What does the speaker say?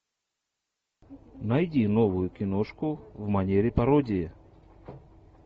найди новую киношку в манере пародии